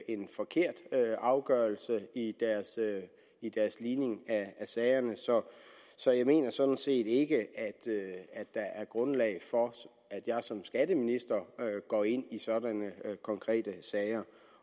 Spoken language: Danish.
en forkert afgørelse i deres ligning af sagerne så jeg mener sådan set ikke at der er grundlag for at jeg som skatteminister går ind i sådanne konkrete sager